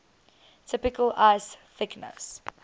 typical ice thickness